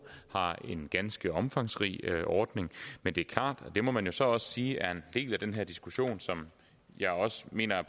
har de en ganske omfangsrig ordning men det er klart og det må man jo så også sige er en del af den her diskussion som jeg også mener er